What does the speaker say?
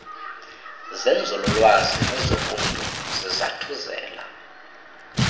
zenzululwazi nezobuntu zizathuzela